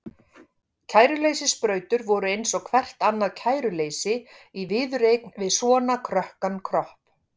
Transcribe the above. Kæruleysissprautur voru eins og hvert annað kæruleysi í viðureign við svona krökkan kropp.